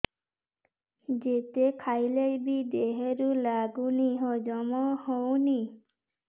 ଯେତେ ଖାଇଲେ ବି ଦେହରେ ଲାଗୁନି ହଜମ ହଉନି